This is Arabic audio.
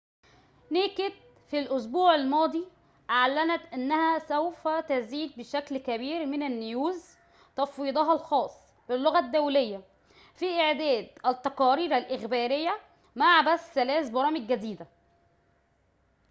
في الأسبوع الماضي أعلنت naked news أنها سوف تزيد بشكل كبير من تفويضها الخاص باللغة الدولية في إعداد التقارير الإخبارية مع بث ثلاث برامج جديدة